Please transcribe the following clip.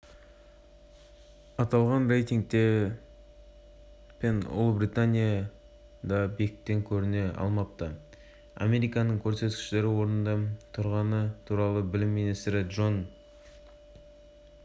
ал үздік ондық тізімінен азия елдерінің алда тұрғанын байқауға болады нақтылап айтсақ математикадан үздік жеті мемлекеттер